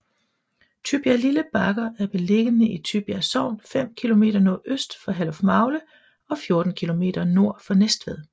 Tybjerglille Bakker er beliggende i Tybjerg Sogn fem kilometer nordøst for Herlufmagle og 14 kilometer nord for Næstved